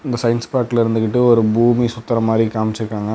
இந்த சயின்ஸ் பார்க்ல இருந்துகிட்டு ஒரு பூமி சுத்தற மாறி காமிச்சுருக்காங்க.